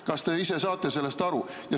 Kas te ise saate sellest aru?